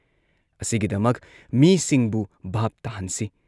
ꯑꯁꯤꯒꯤꯗꯃꯛ ꯃꯤꯁꯤꯡꯕꯨ ꯚꯥꯚ ꯇꯥꯍꯟꯁꯤ ꯫